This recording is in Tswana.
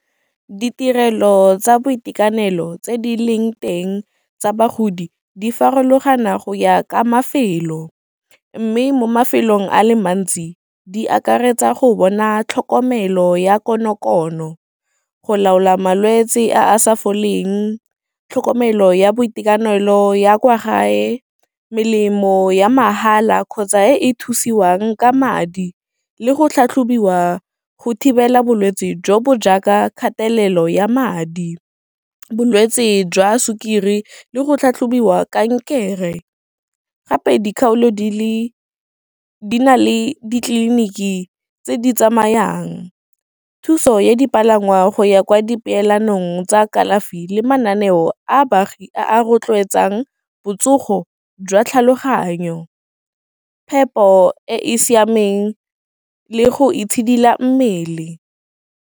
Ditirelo tsa boitekanelo tse di leng teng tsa bagodi di farologana go ya ka mafelo, mme mo mafelong a le mantsi di akaretsa go bona tlhokomelo ya konokono, go laola malwetse a a sa foleng, tlhokomelo ya boitekanelo ya kwa gae, melemo ya mahala kgotsa e e thusiwang ka madi, le go tlhatlhobiwa go thibela bolwetse jo bo jaaka kgatelelo ya madi, bolwetse jwa sukiri le go tlhatlhobiwa kankere. Gape dikgaolo di na le ditleliniki tse di tsamayang, thuso ya dipalangwa go ya kwa dipeelanong, jaanong tsa kalafi le mananeo a baagi, a rotloetsa botsogo jwa tlhaloganyo e phepo, e e siameng le go itshidila mmele.